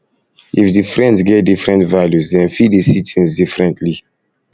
if di friends get different values dem fit fit de see things differently